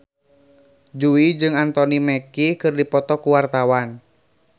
Jui jeung Anthony Mackie keur dipoto ku wartawan